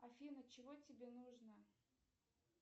афина чего тебе нужно